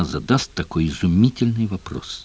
задаст такой изумительный вопрос